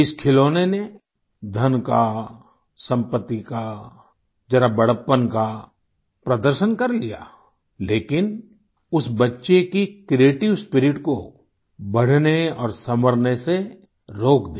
इस खिलौने ने धन का सम्पत्ति का जरा बड़प्पन का प्रदर्शन कर लिया लेकिन उस बच्चे की क्रिएटिव स्पिरिट को बढ़ने और संवरने से रोक दिया